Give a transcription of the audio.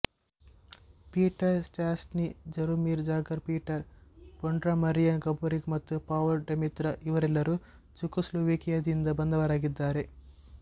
Peter Stastny Jaromir Jagr Peter Bondra Marian Gaborik ಮತ್ತು Pavol Demitra ಇವರೆಲ್ಲರೂ ಚೆಕೊಸ್ಲೊವೇಕಿಯಾದಿಂದ ಬಂದವರಾಗಿದ್ದಾರೆ